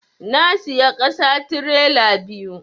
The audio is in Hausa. Na siya ƙasa tirela biyu